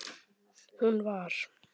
Hún var